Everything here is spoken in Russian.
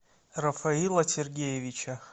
рафаила сергеевича